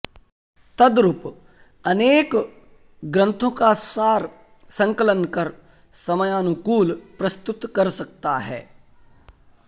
तद्रुप अनेक ग्रंथो का सार संकलन कर समयानुकूल प्रस्तुत का सकता है